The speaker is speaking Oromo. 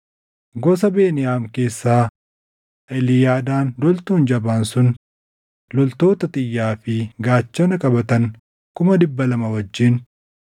Gosa Beniyaam keessaa: Eliyaadaan loltuun jabaan sun loltoota xiyyaa fi gaachana qabatan 200,000 wajjin;